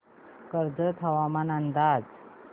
कर्जत हवामान अंदाज